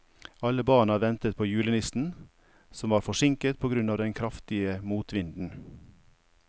Alle barna ventet på julenissen, som var forsinket på grunn av den kraftige motvinden.